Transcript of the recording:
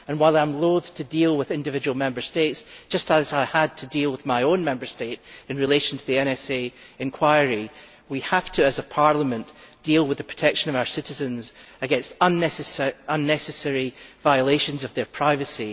While I am loathe to deal with individual Member States, just as I had to deal with my own Member State in relation to the NSA inquiry, we must as a Parliament deal with the protection of our citizens against unnecessary violations of their privacy.